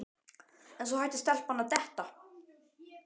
En svo hætti stelpan að detta.